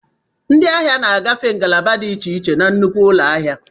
Ndị ahịa na-agafe ngalaba dị iche iche na nnukwu ụlọ ahịa.